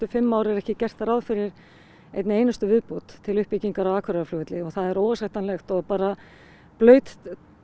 fimm ár er ekki gert ráð fyrir einni einustu viðbót til uppbyggingar á Akureyrarflugvelli og það er óásættanlegt og bara blaut